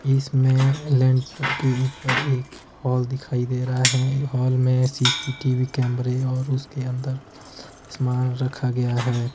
इसमें लेंटर के ऊपर एक हाल दिखाई दे रहा है। हाल में सी_सी_टी_वी कैमरे और उसके अंदर सामान रखा गया है।